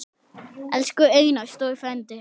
Elsku Einar stóri frændi.